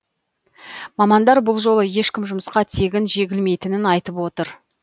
мамандар бұл жолы ешкім жұмысқа тегін жегілмейтінін айтып отыр